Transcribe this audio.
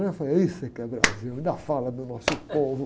Eu falei, é isso que é Brasil, ainda fala do nosso povo.